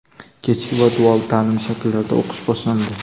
kechki va dual ta’lim shakllarida o‘qish boshlandi.